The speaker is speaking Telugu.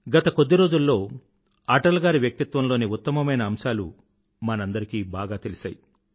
గత కొద్ది రోజులలో అటల్ గారి వ్యక్తిత్వంలోని ఉత్తమమైన అంశాలు మనందరికీ బాగా తెలిసాయి